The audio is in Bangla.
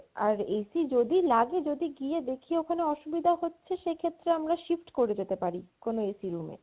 আর AC যদি লাগে যদি গিয়ে দেখি ওখানে অসুবিধা হচ্ছে সেক্ষেত্রে আমরা shift করে যেতে পারি কোনো AC room এ